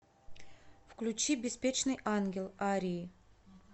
включи беспечный ангел арии